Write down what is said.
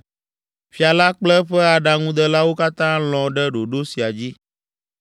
Fia la kple eƒe aɖaŋudelawo katã lɔ̃ ɖe ɖoɖo sia dzi